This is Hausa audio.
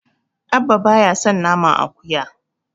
Abba baya son naman akuya.